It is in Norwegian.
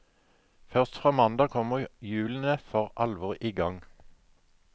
Først fra mandag kommer hjulene for alvor i gang.